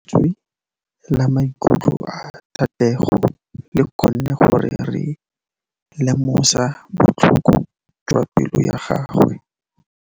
Lentswe la maikutlo a Thategô le kgonne gore re lemosa botlhoko jwa pelô ya gagwe.